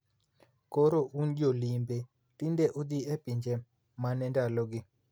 Koro un jolimbe tinde udhi e piny mane ndalogi?